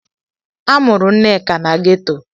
A mụrụ Nneka na ghetọ.